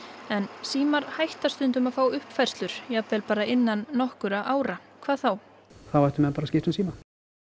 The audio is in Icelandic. en símar hætta stundum að fá uppfærslur jafnvel bara innan nokkurra ára hvað þá þá ættu menn bara að skipta um síma